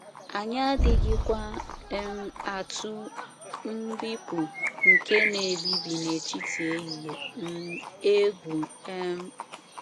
Anyị adịghịkwa um atụ “ mbipụ nke na - ebibi n’etiti ehihie um ” egwu um.